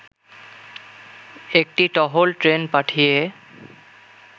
একটি টহল ট্রেন পাঠিয়ে